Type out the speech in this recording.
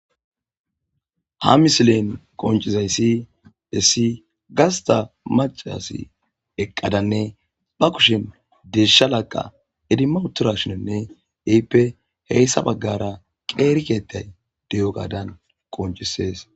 Ha misilen qoncizayssi dhessi gasta macasi eqqadanne ba kushin desha laqa edima utorashinonne ehippe heyssa baggara qeeri keettay deyo gaadan qoncisees